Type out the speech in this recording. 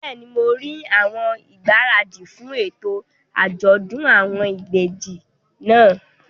Bẹ́ẹ̀ni, mo rí àwọn ìgbáradì fún ètò àjọ̀dún àwọn ìbejì náà